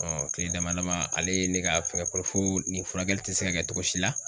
kile dama dama ale ye ne ka fɛngɛ kɔnɔ fo nin furakɛli tɛ se ka kɛ cogo si la.